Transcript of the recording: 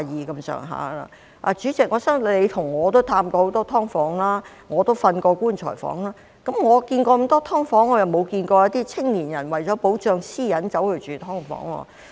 代理主席，我相信你和我都探訪過很多"劏房"，我更睡過"棺材房"，我去過很多"劏房"，但沒有看到一些青年人為了保障私隱而住"劏房"。